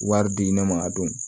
Wari di ne ma a don